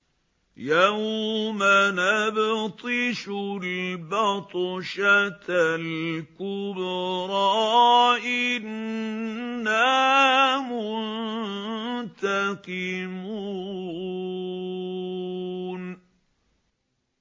يَوْمَ نَبْطِشُ الْبَطْشَةَ الْكُبْرَىٰ إِنَّا مُنتَقِمُونَ